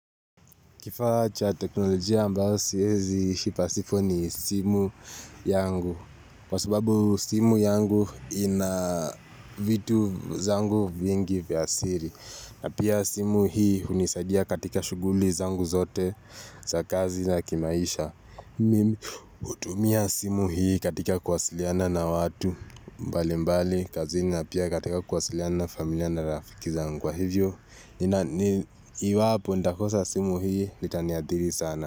Kifaa cha teknolojia ambao siezi ishi pasipo ni simu yangu. Kwa sababu simu yangu ina vitu zangu vingi vya siri. Na pia simu hii unisaidia katika shughuli zangu zote za kazi na kimaisha. Hutumia simu hii katika kuwasiliana na watu. Mbali mbali kazini na pia katika kuwasiliana na familia na rafiki zangu wa hivyo. Iwapo nitakosa simu hii Litaniadhiri sana.